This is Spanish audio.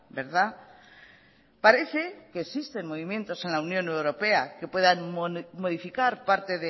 verdad parece que existen movimientos en la unión europea que puedan modificar parte